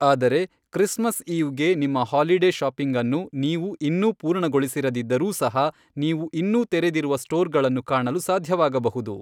ಆದರೆ, ಕ್ರಿಸ್ಮಸ್ ಈವ್ಗೆ ನಿಮ್ಮ ಹಾಲಿಡೆ ಶಾಪಿಂಗ್ ಅನ್ನು ನೀವು ಇನ್ನೂ ಪೂರ್ಣಗೊಳಿಸಿರದಿದ್ದರೂ ಸಹ, ನೀವು ಇನ್ನೂ ತೆರೆದಿರುವ ಸ್ಟೋರ್ಗಳನ್ನು ಕಾಣಲು ಸಾಧ್ಯವಾಗಬಹುದು.